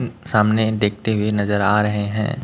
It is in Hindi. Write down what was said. सामने देखते हुए नजर आ रहे हैं।